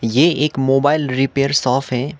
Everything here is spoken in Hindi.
ये एक मोबाइल रिपेयर शॉप है।